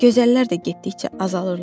Gözəllər də getdikcə azalırlar.